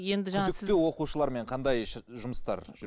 күдікті оқушылармен қандай жұмыстар